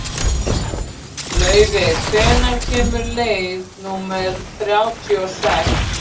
Laufey, hvenær kemur leið númer þrjátíu og sex?